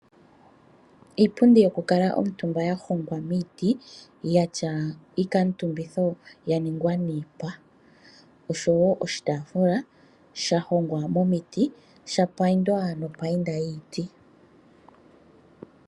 Iipundi yokukala omutumba yahongwa miiti yatya iikaatumbitho yaningwa niipa, osho wo oshitaafula shahongwa momiti tashi payindwa nopaiyinda yiiti.